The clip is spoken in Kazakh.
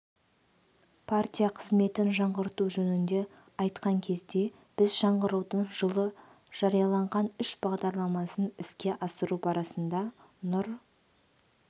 партия қызметін жаңғырту жөнінде айтқан кезде біз жаңғырудың жылы жарияланған үш бағдарламасын іске асыру барысында нұр